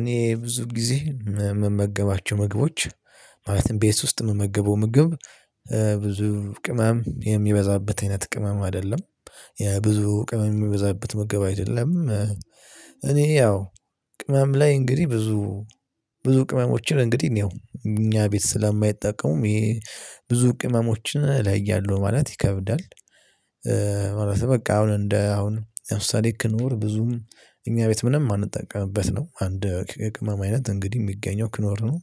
እኔ ብዙ ጊዜ የምመገባቸው ምግቦች ማለትም ቤት ውስጥ የምመገበው ምግብ ብዙ ቅመም የሚበዛበት አይነት ቅመም አይደለም። የብዙ ቅመም የሚበዛበት ምግብ አይደለም። እኔ ያው ቅመም ላይ እንግዲህ ብዙ ብዙ ቅመሞችን እንግዲህ ያው እኛ ቤት ስለማይጠቀሙም ይሄ ብዙ ቅመሞችን እለያለሁ ማለት ይከብዳል። ማለትም በቃ አሁን እንደ አሁን ለምሳሌ ክኖር ብዙም እኛ ቤት ምንም የማንጠቀምበት ነው አንድ የቅመም አይነት እንግዲህ የሚገኘው ክኖር ነው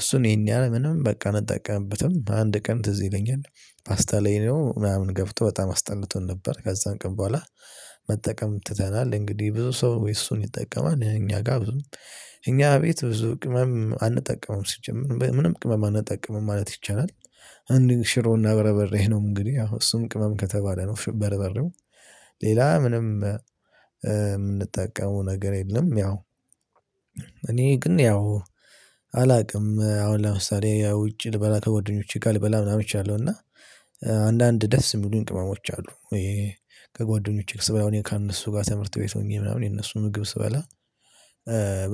እሱን ይሄን ያህል ምንም በቃ አንጠቀምበትም አንድ ቀን ትዝ ይለኛል ፓስታ ላይ ነው ምናምን ገብቶ በጣም አስጠልቶን ነበር ከዛም ቀን በኋላ መጠቀም ትተናል እንግዲህ ብዙ ሰው እሱን ይጠቀማል፣ እኛ ጋር ብዙ እኛ ቤት ብዙ ቅመም አንጠቀምም ሲጀመር ምንም ቅመም አንጠቀምም ማለት ይቻላል። አንድ ሽሮና በረበሬ ነው እንግዲህ አዎ እሱም ቅመም ከተባለ ነው በርበሬው ሌላ ምንም የምንጠቀመው ነገር የለም ያው እኔ ግን ያው አላውቅም አሁን ለምሳሌ ውጭ ልበላ ከጎደኞቼ ጋር ልበላ ምናምን እችላለሁ እና አንዳንድ ደስ የሚሉኝ ቅመሞች አሉ ይሄ ከጓደኞቼ ጋር ስበላ እኔ ከነሱ ጋር ትምህርት ቤት ሆኜ ምናምን የእነሱን ምግብ ስበላ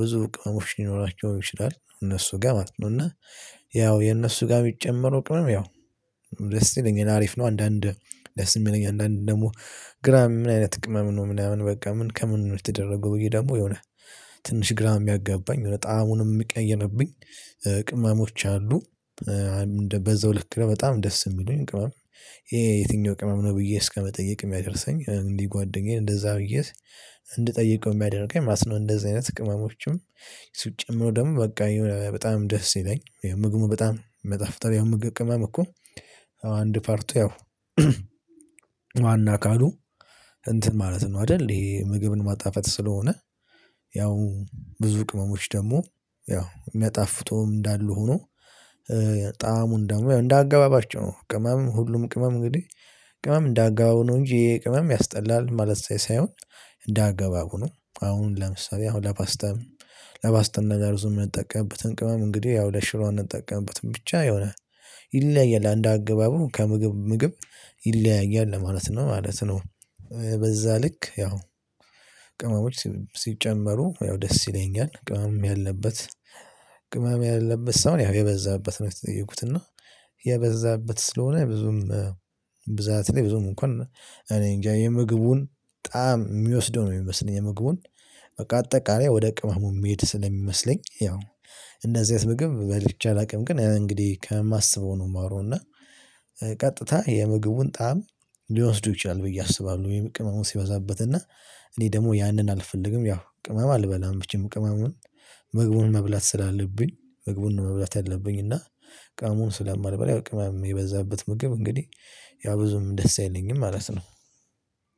ብዙ ቅመሞች ሊኖራቸው ይችላል እነሱ ጋር ማለት ነው እና ያው የእነሱ ጋር የሚጨመረው ቅመም ያው ደስ ይለኛል አሪፍ ነው አንዳንድ ደስ የሚለኝ አንዳንድ ደግሞ ግራ ምን አይነት ቅመም ነው ምናምን በቃ ምን ከምን ነው የተደረገው ብዬ ደግሞ የሆነ ትንሽ ግራ የሚያጋባኝ የሆነ ጣዕሙንም የሚቀየርብኝ ቅመሞች አሉ። በዛው ልክ በጣም ደስ የሚሉኝ ቅመም ይሄ የትኛው ቅመም ነው ብዬ እስከመጠየቅ የሚያደርሰኝ እንዲህ ጓደኛዬን እንደዛ ብዬ እንድጠይቀው የሚያደርገኝ ማለት ነው እንደዚህ አይነት ቅመሞችም ሲጨመር ደግሞ በቃ በጣም ደስ ይለኛል ምግቡ በጣም ሚጣፍጠው ምግብ ቅመም እኮ አንድ ፓርቱ ያው ካሉ እንትን ማለት ነው አይደል ይሄ ምግብን ማጣፈጥ ስለሆነ ያው ብዙ ቅመሞች ደግሞ ያው ሚያጣፍጡም እንዳሉ ሆኖ ጣዕሙን ደግሞ እንደ አገባባቸው ነው ቅመም ሁሉም ቅመም እንግዲህ ቅመም እንደ አገባባቡ ነው እንጂ ይሄ ቅመም ያስጠላል ማለት ሳይሆን እንደ አገባቡ ነው አሁን ለምሳሌ አሁን ለፓስታም ለፓስታም ነገር ምንጠቀምበትን ቅመም እንግዲህ ያው ለሽሮ አንጠቀምበትን ብቻ የሆነ ይለያያል እንደ አገባቡ ከምግብ ምግብ ይለያያል ለማለት ነው ማለት ነው በዛ ልክ ያው ቅመሞች ሲጨመሩ ያው ደስ ይለኛል ቅመም ያለበት ቅመም ያለበት ሳይሆን የበዛበት ነው የተጠየቁት እና የበዛበት ስለሆነ ብዙም ብዛት ላይ ብዙም እንኳን እኔ እንጃ የምግቡን ጣዕም የሚወስደው ነው የሚመስለኝ የምግቡን በቃ አጠቃላይ ወደ ቅመሙ የሚሄድ ስለሚመስለኝ ያው እንደዚህ አይነት ምግብ በልቼ አላውቅም ግን እንግዲህ ከማስበው ነው የማወራው እና ቀጥታ የምግቡን ጣዕም ሊወስዱ ይችላል ብዬ አስባለሁ ወይም ቅመሙ ሲበዛበት እና እኔ ደግሞ ያንን አልፈልግም ያው ቅመም አልበላም መቼም ቅመሙን ምግቡን መብላት ስላለብኝ ምግቡን መብላት ያለብኝ እና ቅመሙን ስለማልበላ ያው ቅመም የበዛበት ምግብ እንግዲህ ያው ብዙም ደስ አይለኝም ማለት ነው